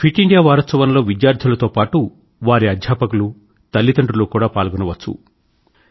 fit India వారోత్సవంలో విద్యార్థులతో పాటూ వారి అధ్యాపకులు తల్లిదండ్రులు కూడా పాల్గోవచ్చు